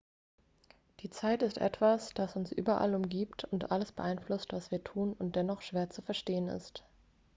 die zeit ist etwas dass uns überall umgibt und alles beeinflusst was wir tun und dennoch schwer zu verstehen ist